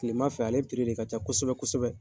Kilema fɛ ale de ka ca kosɛbɛ kosɛbɛ